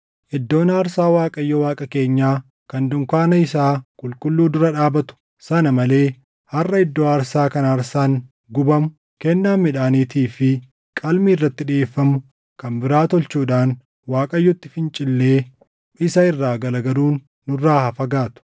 “Iddoo aarsaa Waaqayyo Waaqa keenyaa kan dunkaana isaa qulqulluu dura dhaabatu sana malee harʼa iddoo aarsaa kan aarsaan gubamu, kennaan midhaaniitii fi qalmi irratti dhiʼeeffamu kan biraa tolchuudhaan Waaqayyotti fincillee isa irraa garagaluun nurraa haa fagaatu.”